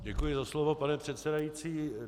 Děkuji za slovo, paní předsedající.